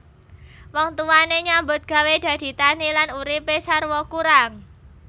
Wong tuwane nyambut gawé dadi tani lan uripe sarwa kurang